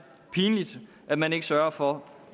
pinligt at man ikke sørger for